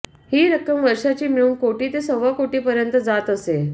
ही रक्कम वर्षाची मिळून कोटी ते सव्वा कोटीपर्यंत जात असे